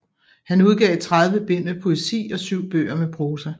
Han udgav tredive bind med poesi og syv bøger med prosa